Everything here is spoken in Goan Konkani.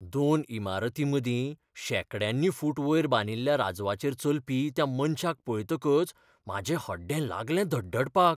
दोन इमारतीं मदीं शेंकड्यांनी फूट वयर बांदिल्ल्या राजवाचेर चलपी त्या मनशाक पळयतकच म्हाजें हड्डें लागलें धडधडपाक.